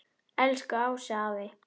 Elsku Ási afi.